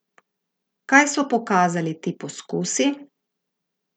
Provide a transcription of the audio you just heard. Kaj so pokazali ti poskusi?